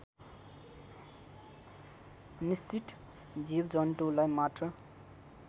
निश्चित जीवजन्तुलाई मात्र